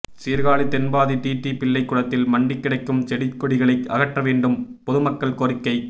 Sirkazhi Thenpathi TD Pillai குளத்தில் மண்டி கிடக்கும் செடி கொடிகளை அகற்ற வேண்டும் பொதுமக்கள் கோரிக்கை